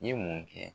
N ye mun kɛ